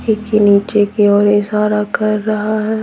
की नीचे की ओर इशारा कर रहा है।